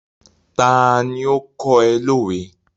Ta ni ó kọ́ ẹ lówe?